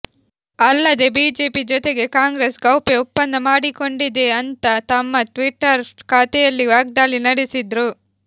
ಅಲ್ಲದೆ ಬಿಜೆಪಿ ಜೊತೆಗೆ ಕಾಂಗ್ರೆಸ್ ಗೌಪ್ಯ ಒಪ್ಪಂದ ಮಾಡಿಕೊಂಡಿದೆ ಅಂತಾ ತಮ್ಮ ಟ್ವಿಟರ್ ಖಾತೆಯಲ್ಲಿ ವಾಗ್ದಾಳಿ ನಡೆಸಿದ್ರು